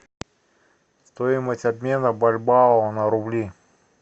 стоимость обмена бальбоа на рубли